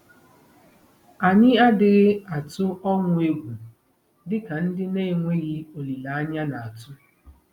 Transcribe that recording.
Anyị adịghị atụ ọnwụ egwu dị ka ndị na-enweghị olileanya na-atụ.